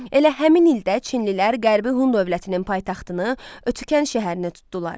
Elə həmin ildə çinlilər qərbi Hun dövlətinin paytaxtını Ötükən şəhərini tutdular.